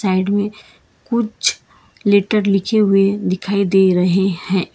Side में कुछ letter लिखे हुए दिखाई दे रहे हैं।